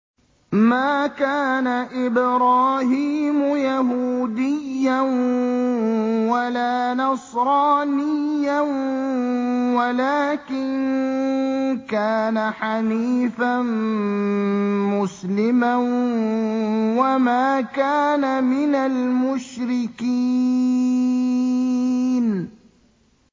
مَا كَانَ إِبْرَاهِيمُ يَهُودِيًّا وَلَا نَصْرَانِيًّا وَلَٰكِن كَانَ حَنِيفًا مُّسْلِمًا وَمَا كَانَ مِنَ الْمُشْرِكِينَ